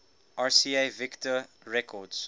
rca victor records